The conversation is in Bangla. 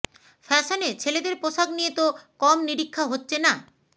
ফ্যাশনে ছেলেদের পোশাক নিয়ে তো কম নিরীক্ষা হচ্ছে না